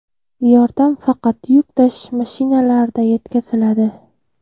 Yordam faqat yuk tashish mashinalarida yetkaziladi.